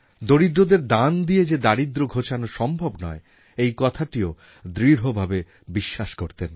দরিদ্রদের দান দিয়ে যে দারিদ্র্য ঘোচানো সম্ভব নয় এই কথাটিও দৃঢ়ভাবে বিশ্বাস করতেন